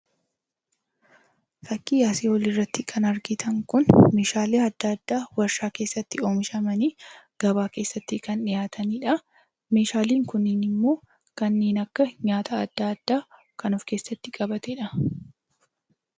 Fakkii asii olii irratti kan argitan kun, meeshaalee adda addaa warshaa keessatti oomishamanii, gabaa keessatti kan dhiyaatanii dha. Meeshaaleen kunniin immoo, kanneen nyaata adda addaa kan of keessatti qabatee dha.